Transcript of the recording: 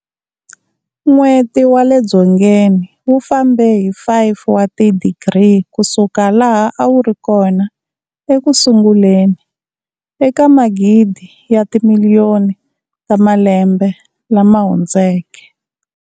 N'weti wa le dzongeni wu fambe hi 5 wa tidigri ku suka laha a wu ri kona eku sunguleni eka magidi ya timiliyoni ta malembe lama hundzeke.